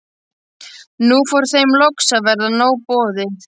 Nú fór þeim loks að verða nóg boðið.